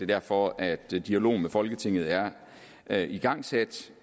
derfor at dialogen med folketinget er er igangsat